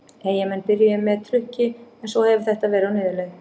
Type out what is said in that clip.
Eyjamenn byrjuðu með trukki en svo hefur þetta verið á niðurleið.